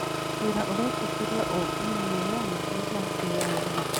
Wĩra ũretĩkĩria ũũmbi na wĩyathi wa kwĩyaria